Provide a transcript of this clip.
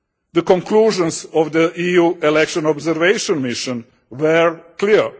The conclusions of the EU Election Observation Mission were clear.